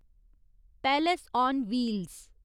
palace on wheels